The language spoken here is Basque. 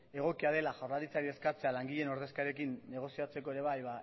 egokia dela jaurlaritzari eskatzea langileen ordezkariekin negoziatzeko ere bai